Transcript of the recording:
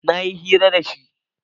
na yi hira da shi